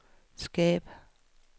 skab